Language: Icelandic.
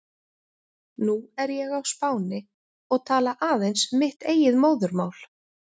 Nú er ég á Spáni og tala aðeins mitt eigið móðurmál.